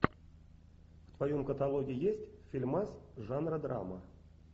в твоем каталоге есть фильмас жанра драма